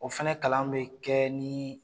O fana kalan bɛ kɛ ni